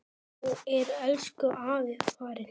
Þá er elsku afi farinn.